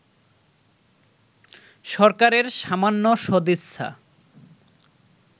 সরকারের সামান্য সদিচ্ছা